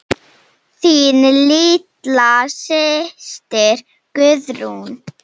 Þín litla systir Guðrún.